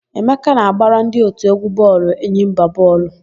Emeka na-agbara ndị òtù égwú bọọlụ Enyimba bọọlụ.